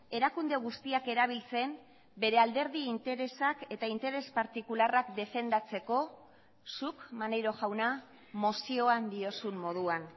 erakunde guztiak erabiltzen bere alderdi interesak eta interes partikularrak defendatzeko zuk maneiro jauna mozioan diozun moduan